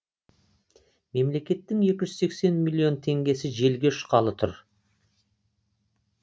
мемлекеттің екі жүз сексен миллион теңгесі желге ұшқалы тұр